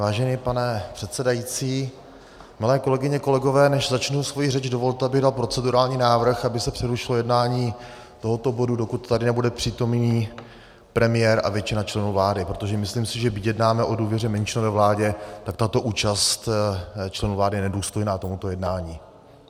Vážený pane předsedající, milé kolegyně, kolegové, než začnu svoji řeč, dovolte, abych dal procedurální návrh, aby se přerušilo jednání tohoto bodu, dokud tady nebude přítomný premiér a většina členů vlády, protože myslím si, že byť jednáme o důvěře menšinové vládě, tak tato účast členů vlády je nedůstojná tomuto jednání.